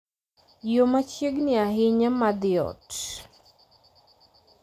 yo machiegni ahinya ma dhi ot